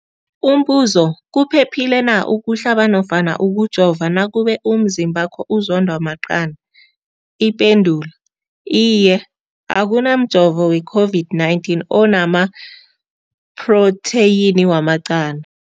Umbuzo, kuphephile na ukuhlaba nofana ukujova nakube umzimbakho uzondwa maqanda. Ipendulo, Iye. Akuna mjovo we-COVID-19 ona maphrotheyini wamaqanda.